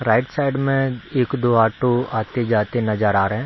Right side में एक दो ऑटो आते-जाते नजर आ रहें हैं।